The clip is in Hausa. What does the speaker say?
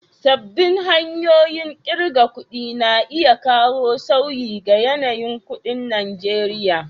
Sabbin hanyoyin ƙirga kuɗi na iya kawo sauyi ga yanayin kuɗin Najeriya.